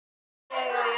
Aldrei deyr.